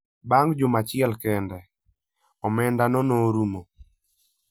Bang' juma achiel kende, omendano norumo.